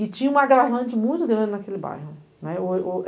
E tinha uma agravante muito grande naquele bairro, né?!